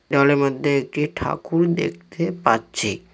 দেওয়ালের মধ্যে একটি ঠাকুর দেখতে পাচ্ছি।